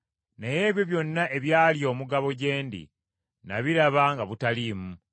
Naye ebyo byonna ebyali omugabo gye ndi, nabiraba nga butaliimu.